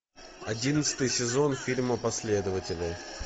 одиннадцатый сезон фильма последователи